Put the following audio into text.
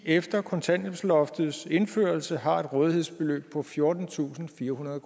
efter kontanthjælpsloftets indførelse har et rådighedsbeløb på fjortentusinde og firehundrede